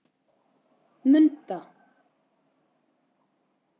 Munda